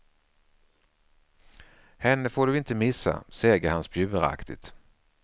Henne får du inte missa, säger han spjuveraktigt.